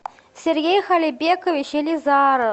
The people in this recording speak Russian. сергей халибекович елизаров